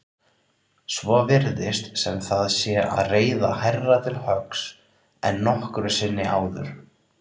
Svo virðist sem það sé að reiða hærra til höggs en nokkru sinni áður.